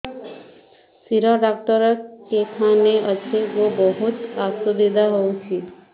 ଶିର doctor କେଖାନେ ଅଛେ ଗୋ ବହୁତ୍ ଅସୁବିଧା ହଉଚି